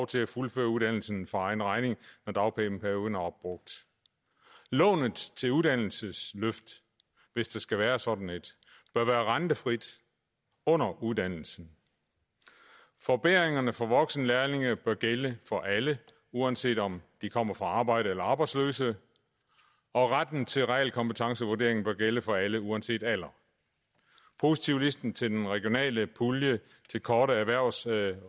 til at fuldføre uddannelsen for egen regning når dagpengeperioden er opbrugt lånet til uddannelsesløft hvis der skal være sådan et bør være rentefrit under uddannelsen forbedringerne for voksenlærlinge bør gælde for alle uanset om de kommer fra arbejde eller er arbejdsløse og retten til realkompetencevurdering bør gælde for alle uanset alder positivlisten til den regionale pulje til korte erhvervsrettede